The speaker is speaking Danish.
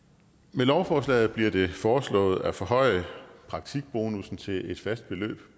med lovforslaget bliver det foreslået at forhøje praktikbonussen til et fast beløb